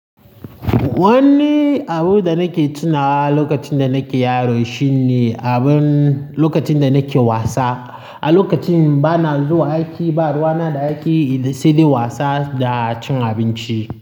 Wanni abun da nake tunawa lokacin da nake yaro shine abin lokacin da nake wasa. A lokacin bana zuwa aiki, ba ruwana da aiki, sai dai wasa da cin abinci.